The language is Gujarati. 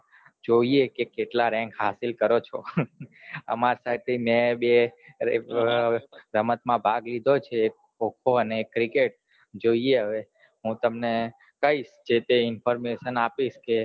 જોઈએ કે કેટલા rank હસીલો કરો છો આમાર સાઈડ થી મેં બે રમત માં ભાગ લીઘો છે ખો ખો અને cricket જોઈએ હવે હું તમને કઈસ જેતે information આપીસ કે